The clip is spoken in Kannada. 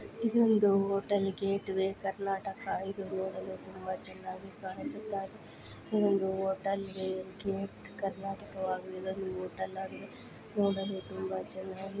ಇದು ಒಂದು ಹೋಟೆಲ್ ಇದೆ ಗೇಟ್ ವೇ ಕರ್ನಾಟಕ ಇದು ನೋಡಲು ತುಂಬಾ ಚೆನ್ನಾಗಿ ಕಾಣಿಸ್ತಾ ಇದೆ ಇದೊಂದು ಹೋಟೆಲ್ ನೋಡಲು ತುಂಬ ಚೆನ್ನಾಗಿ --